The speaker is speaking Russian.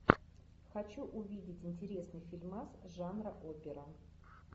хочу увидеть интересный фильмас жанра опера